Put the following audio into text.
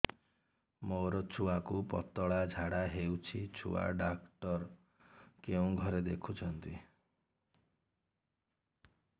ମୋର ଛୁଆକୁ ପତଳା ଝାଡ଼ା ହେଉଛି ଛୁଆ ଡକ୍ଟର କେଉଁ ଘରେ ଦେଖୁଛନ୍ତି